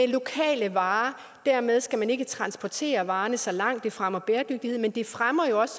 lokale varer dermed skal man ikke transportere varerne så langt og det fremmer bæredygtigheden men det fremmer jo også